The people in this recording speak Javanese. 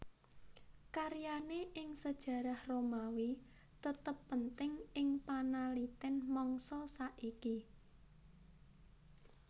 Karyane ing sejarah Romawi tetep penting ing panaliten mangsa saiki